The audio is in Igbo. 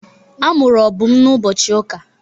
A mụrụ Obum n'ụbọchị ụka.